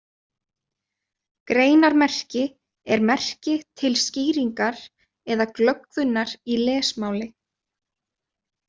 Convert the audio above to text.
Greinarmerki er merki til skýringar eða glöggvunar í lesmáli.